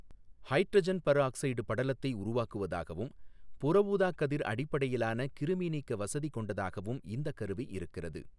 Hydrogen peroxide படலத்தை உருவாக்குவதாகவும், புறஊதா கதிர் அடிப்படையிலான கிருமிநீக்க வசதி கொண்டதாகவும் இந்தக் கருவி இருக்கிறது.